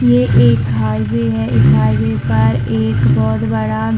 ये एक हाइवे है इस हाईवे पर एक बहोत बड़ा--